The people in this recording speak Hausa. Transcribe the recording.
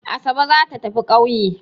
Asabe za ta tafi ƙauye.